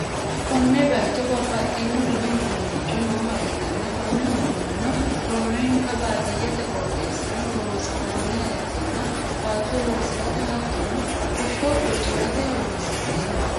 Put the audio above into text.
Konne bayiicho bababxxino dani uduunnici nooha ikkanna, konne uduunnenno roorenkanni baadiyyete qooxeesira horonsi'nanniha ikkanna, baatto loosi'rate hattono kosho boci'rate horonsi'neemmo.